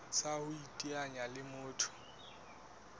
tsa ho iteanya le motho